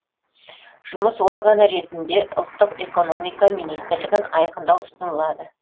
жұмыс органы ретінде ұлттық экономика министрлігін айқындау ұсынылады